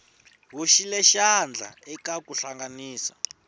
hoxile xandla eka ku hlanganisa